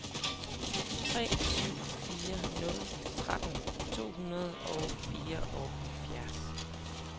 tre syv fire nul tretten to hundrede og fireoghalvfjerds